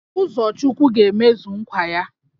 Uzochukwu ga-emezu nkwa ya